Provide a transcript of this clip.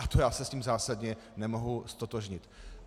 A to já se s tím zásadně nemohu ztotožnit.